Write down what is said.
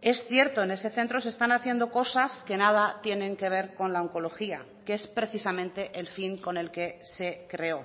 es cierto en ese centro se están haciendo cosas que nada tienen que ver con la oncología que es precisamente el fin con el que se creó